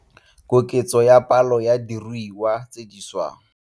Koketso ya palo ya diruiwa tse di swang.